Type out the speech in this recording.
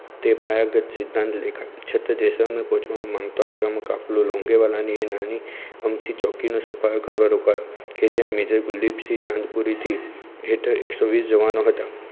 તે પાવાગઢ સિદ્ધાંત લેખક ચિત્ર પહોંચવાનું માંગતા કાફલો લોગીવાલા ની નાની અમથી ચોકીનો સફાયો કરવા રોકાયો કે જ્યાં મેજર ગુલ્દીપ્સીહ ચાંદ પુરીની હેઠળ એકસો વીસ જવાનો હતા.